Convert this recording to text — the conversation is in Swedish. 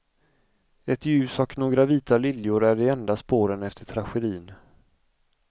Ett ljus och några vita liljor är de enda spåren efter tragedin.